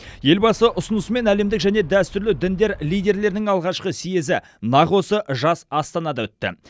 елбасы ұсынысымен әлемдік және дәстүрлі діндер лидерлерінің алғашқы съезі нақ осы жас астанада өтті